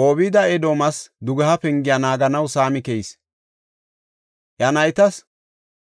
Obeed-Edoomas dugeha pengiya naaganaw saami keyis. Iya naytas